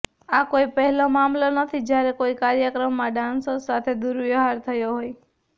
આ કોઈ પહેલો મામલો નથી જ્યારે કોઈ કાર્યક્રમમાં ડાંસર્સ સાથે દુર્વ્યવહાર થયો હોય